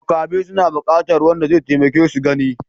Makafi suna buƙatar wanda zai taimake su gani.